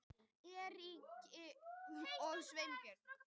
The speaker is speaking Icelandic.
Eiríki og Sveini